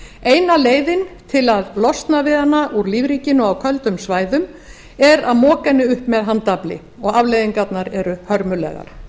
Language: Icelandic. eina leiðin til að losna við hana úr lífríkinu á köldum svæðum er að moka henni upp með handafli og afleiðingarnar eru hörmulegar